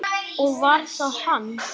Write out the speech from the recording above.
Og var það hann?